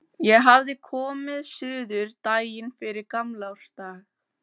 Ég hafði komið suður daginn fyrir gamlársdag.